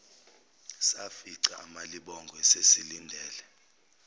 safica umalibongwe esesilindele